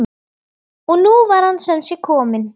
Og nú var hann sem sé kominn!